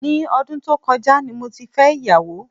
Ní ọdún tó kọjá ni mo ti fẹ́ ìyàwó.